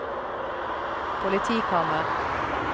politikammer